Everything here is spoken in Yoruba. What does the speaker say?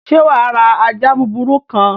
Sé wàá ra ajá búburú kan?